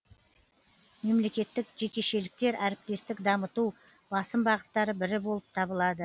мемлекеттік жекешіліктер әріптестік дамыту басым бағыттары бірі болып табылады